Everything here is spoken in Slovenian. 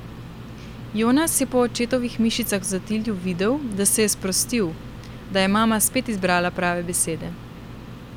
Jonas je po očetovih mišicah v zatilju videl, da se je sprostil, da je mama spet izbrala prave besede.